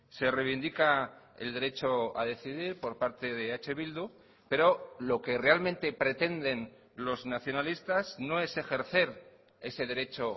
se reivindica el derecho a decidir por parte de eh bildu pero lo que realmente pretenden los nacionalistas no es ejercer ese derecho